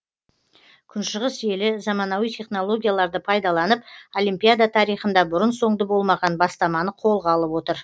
күншығыс елі заманауи технологияларды пайдаланып олимпиада тарихында бұрын соңды болмаған бастаманы қолға алып отыр